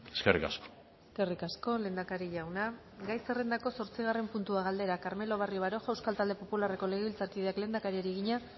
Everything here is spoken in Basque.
eskerrik asko eskerrik asko lehendakari jauna gai zerrendako zortzigarren puntua galdera carmelo barrio baroja euskal talde popularreko legebiltzarkideak lehendakariari egina